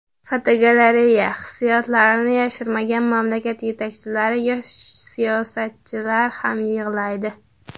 Fotogalereya: Hissiyotlarini yashirmagan mamlakat yetakchilari yoki siyosatchilar ham yig‘laydi.